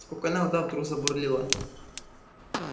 спокойная вода вдруг забурлила